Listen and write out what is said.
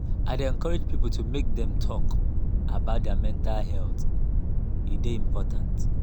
i dey encourage people make dem talk about their mental health e dey important.